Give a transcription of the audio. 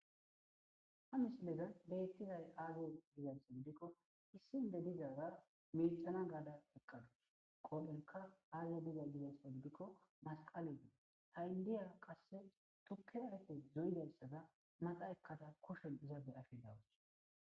Ha misilezan beettizay aaze gidikko issi indo dizara miiccashana gaada eqadus qoodhen aaze dizaysi giikko masqaley dees tukke ayfe zo7izaysa maxa ekkada be7ashe de7awus.